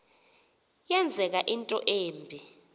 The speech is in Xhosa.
yenzeka into embi